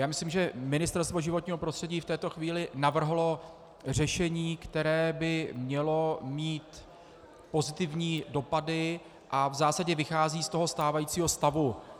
Já myslím, že Ministerstvo životního prostředí v této chvíli navrhlo řešení, které by mělo mít pozitivní dopady a v zásadě vychází z toho stávajícího stavu.